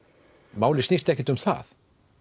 málið snýst ekkert um það